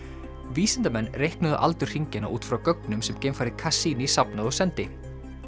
vísindamenn reiknuðu aldur hringjanna út frá gögnum sem geimfarið Cassini safnaði og sendi